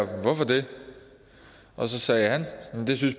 hvorfor det og så sagde han